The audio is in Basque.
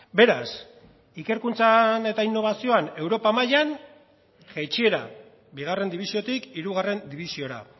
beraz ikerkuntzan eta inobazioan europa mailan jaitsiera bigarren dibisiotik hirugarren dibisiora